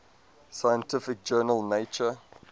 scientific journal nature